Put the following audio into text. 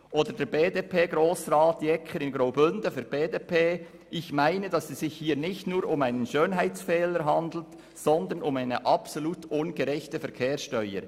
Oder BDP-Grossrat Jeker aus dem Graubünden: «Ich meine, dass es sich hier nicht nur um einen Schönheitsfehler handelt, sondern um eine absolut ungerechte Verkehrssteuer.